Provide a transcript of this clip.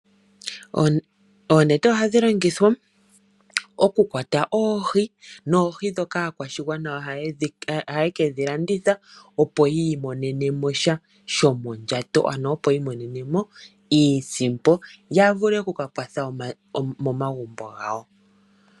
Oonete ohadhi longithwa oku kwata oohi noohi ndhoka aakwashigwana ohaye kedhi landitha opo yiimonene mosha shomondjato ano opo yi imonene mo iisimpo ya vule oku kakwatha momagumbo gawo.